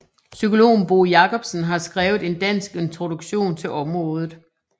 Psykologen Bo Jacobsen har skrevet en dansk introduktion til området